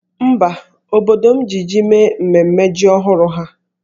Mba, obodo m ji jí mee mmemme ji ọhụrụ ha